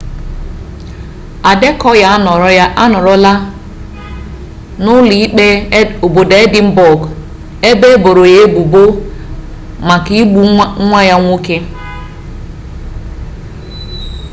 adekọya anọrọla n'ụlọ ikpe obodo edịnbọg ebe eboro ya ebubo maka igbu nwa ya nwoke